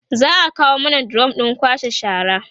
za'a kawo mana drum ɗin kwashe shara